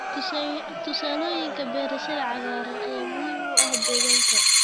Tusaalooyinka beerashada cagaaran ayaa muhiim u ah deegaanka.